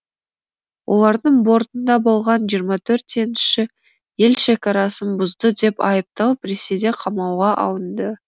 олардың бортында болған жиырма төрт теңізші ел шекарасын бұзды деп айыпталып ресейде қамауға алынды